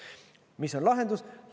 Mis on lahendus?